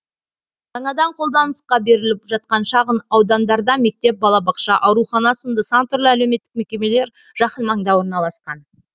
жаңадан қолданысқа беріліп жатқан шағын аудандарда мектеп балабақша аурухана сынды сан түрлі әлеуметтік мекемелер жақын маңда орналасқан